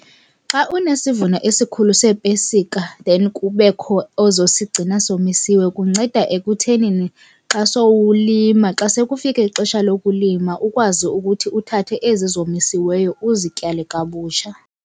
Xa unesivuno esikhulu seepesika then kubekho ozosigcina somisiwe kunceda ekuthenini xa sowulima, xa sekufike ixesha lokulima ukwazi ukuthi uthathe ezi zomisiweyo uzityale kabutsha.